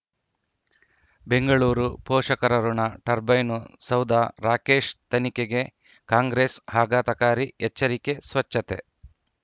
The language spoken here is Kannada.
ಬೆಂಗಳೂರು ಪೋಷಕರಋಣ ಟರ್ಬೈನು ಸೌಧ ರಾಕೇಶ್ ತನಿಖೆಗೆ ಕಾಂಗ್ರೆಸ್ ಆಘಾತಕಾರಿ ಎಚ್ಚರಿಕೆ ಸ್ವಚ್ಛತೆ